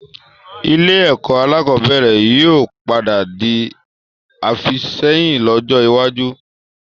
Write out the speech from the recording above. Ilé ẹ̀kọ́ alakọ̀bẹ́ẹ́rẹ̀ yìí ó padà di àfìsẹ́yìn lọ́jọ́ iwájú